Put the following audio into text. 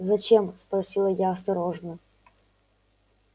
зачем спросила я осторожно